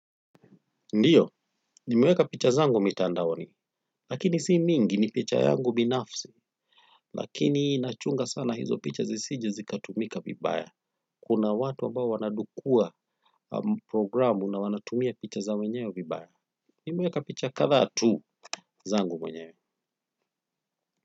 Ndio nimeweka picha zangu mitandaoni lakini si mingi ni picha yangu binafsi. Lakini nachunga sana hizo picha zisije zikatumika vibaya. Kuna watu ambao wanadukua programu na wanatumia picha za wenyewe vibaya. Nimeweka picha kadhaa tu zangu mwenyewe.